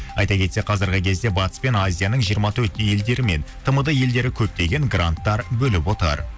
айта кетсек қазіргі кезде батыс пен азияның жиырма төрт елдері мен тмд елдері көптеген гранттар бөліп отыр